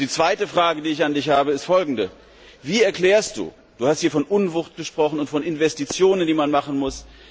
Die zweite Frage, die ich an Dich habe, ist folgende Du hast hier von Unwucht gesprochen und von Investitionen, die man machen muss.